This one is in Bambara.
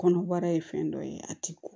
Kɔnɔbara ye fɛn dɔ ye a ti bɔ